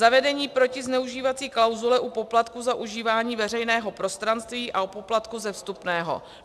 Zavedení protizneužívací klauzule u poplatků za užívání veřejného prostranství a u poplatků ze vstupného.